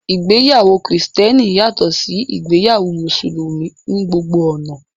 ìgbéyàwó kìrìsìtẹ́nì yàtọ̀ sí ìgbéyàwó mùsùlùmí ní gbogbo ọ̀nà